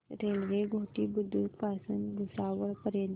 railway Ghoti Budruk पासून भुसावळ पर्यंत